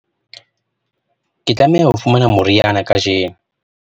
ke tlameha ho fumana moriana kajeno